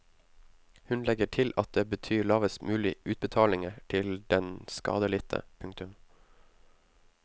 Hun legger til at det betyr lavest mulig utbetalinger til den skadelidte. punktum